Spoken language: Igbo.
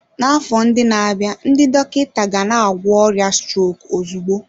N'afọ ndị na-abịa, ndị dọkịta gana-agwọ ọrịa strok ozugbo.